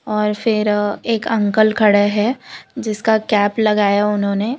और फिर अ एक अंकल खड़े है जिसका कैप लगाया है उन्होंने --